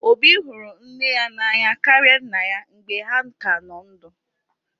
Obi hụrụ nne ya n'anya karịa nna ya mgbe ha ka nọ ndụ